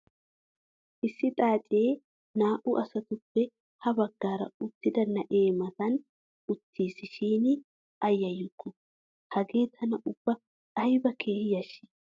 issi xaacee naa" u asatuppe ha bagaara uttioda na'ee matan uttiis shin a yayukku! hagee tana ubba ayba keehi yashii!